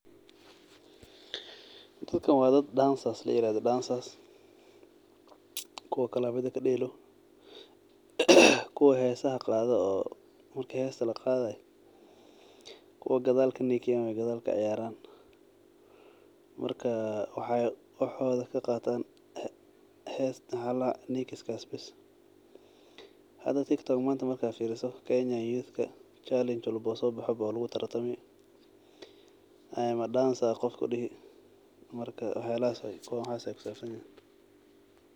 Dadkan wa dad dancers layirahdo, dancers kuwa klabyada kadelo, kuwa hesaha qado, kuwa gadal kanikiyan waye , gadal kaciyaran, marka waxay waxoda kaqatan maxa ladahnikiskan bes . Hada tiktok manta markahadaa kenya yuthka challenge walbo sobaxo walugutartami ,i am a dancer aa qof kudihi marka waxyalahas oo kale ay kusabsanyihin.